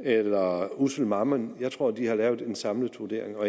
eller ussel mammon jeg tror at de har lavet en samlet vurdering og